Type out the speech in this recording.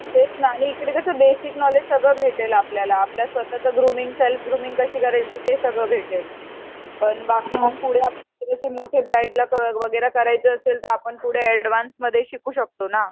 तेच ना आणि इथे कस बेसिक नोलेज सगळ भेटेल आपल्याला आपल्या स्वताच ग्रुमिंग सेल्फ ग्रुमिंग कस करायचं ते सगळ भेटेल पण बाकी मग पुढे मोठे ब्रांईडला वैगरे करायचं असेल तर आपण पुडे एडवान्स मध्ये शिकू शकतो ना